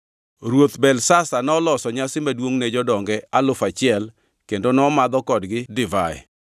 Ruoth Belshazar noloso nyasi maduongʼ ne jodonge alufu achiel kendo nomadho kodgi divai.